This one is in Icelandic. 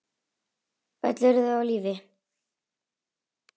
Öll eru þau á lífi.